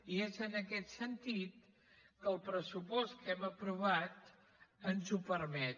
i és en aquest sentit que el pressupost que hem aprovat ens ho permet